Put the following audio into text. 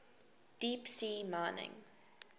deep sea mining